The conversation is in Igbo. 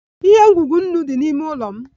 Ihe ngwugwu nnu dị n'ime ụlọ m